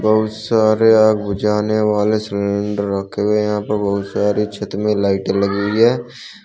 बहुत सारे आग बुझाने वाले सिलेंडर रखे हैं यहां पर बहुत सारी छत में लाइटे लगी हुई है।